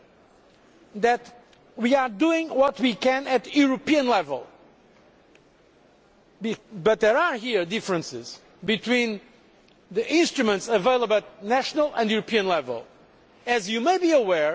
The reality is that we are doing what we can at European level, but there are differences here between the instruments available at national and European level.